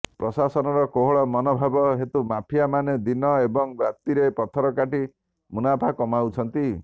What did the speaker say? ପ୍ରଶାସନର କୋହଳ ମନୋଭାବ ହେତୁ ମାଫିଆ ମାନେ ଦିନ ଏବଂ ରାତିରେ ପଥର କାଟି ମୁନାଫା କମାଉଛନ୍ତି